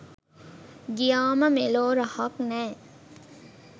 ගියාම මෙලෝ රහක් නැ